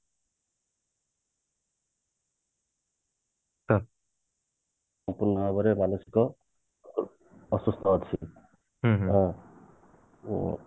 ସମ୍ପୂର୍ଣ ଭାବରେ ମାନସିକ ଅସୁସ୍ଥ ଅଛି ଆଉ ଉଁ